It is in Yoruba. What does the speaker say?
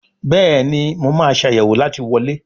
Béèni mo ma Ṣàyẹ̀wò láti wọlé.